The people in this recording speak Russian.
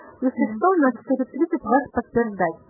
ютуб